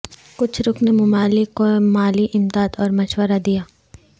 کچھ رکن ممالک کو مالی امداد اور مشورہ دیا